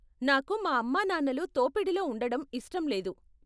నాకు మా అమ్మానాన్నలు తోపిడిలో ఉండడం ఇష్టం లేదు.